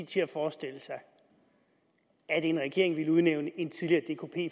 til at forestille sig at en regering ville udnævne en tidligere